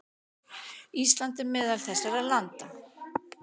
Ísland er meðal þessara landa.